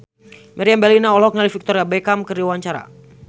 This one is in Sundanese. Meriam Bellina olohok ningali Victoria Beckham keur diwawancara